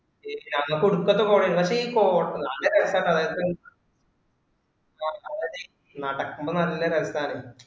ഞങ്ങക്ക് ഒടുക്കത്തെ കോടാണ്. എന്നിട്ട് ഈ കോട നല്ല രസാണ് നടക്കമ്പോ നല്ല രസാണ്